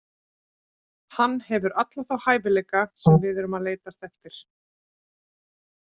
Hann hefur alla þá hæfileika sem við erum að leitast eftir.